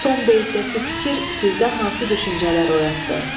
Son beytlərdəki fikir sizdə hansı düşüncələr oyatdı?